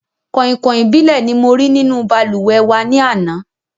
Kọ̀ìnkọ̀ìn ìbílẹ̀ ni mo rí nínú balùwẹ̀ wà ní àná